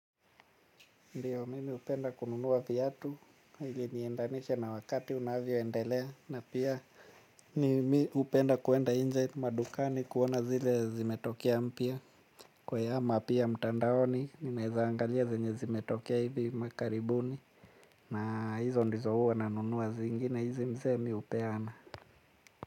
Ndiyo mimi hupenda kununua viatu ili niendanishe na wakati unavyo endelea na pia. Nimi upenda kuenda nje madukani kuona zile zimetokea mpya. Kwe ama pia mtandaoni nimezaangalia zenye zimetokea hivi makaribuni. Na hizo ndizo huwa nanunua zingine hizi mzee miupeana.